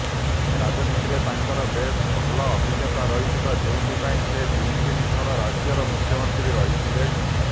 ରାଜନୀତିରେ ତାଙ୍କର ବେଶ୍ ଭଲ ଅଭିଜ୍ଞତା ରହିଥିଲା ଯେଉଁଥିପାଇଁ ସେ ତିନି ତିନି ଥର ରାଜ୍ୟର ମୁଖ୍ୟମନ୍ତ୍ରୀ ରହିଥିଲେ